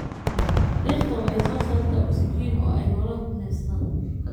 Dhirta waxay soo saartaa oksijiin oo ay noolaha ku neefsadaan.